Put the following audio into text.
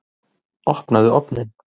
Opnaðu ofninn!